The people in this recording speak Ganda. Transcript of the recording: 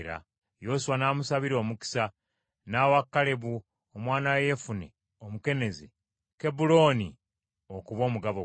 Yoswa n’amusabira omukisa n’awa Kalebu omwana wa Yefune Omukenezi Kebbulooni okuba omugabo gwe.